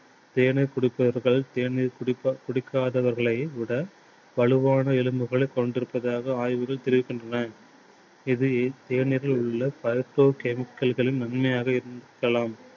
தேநீர் குடிப்பவர்கள் தேநீர் குடிப்ப~ குடிக்காதவர்களை விட வலுவான எலும்புகளை கொண்டிருப்பதாக ஆய்வுகள் தெரிவிக்கின்றன. இது தேநீரில் உள்ள chemical கள் நன்மையாக இருக்கலாம்.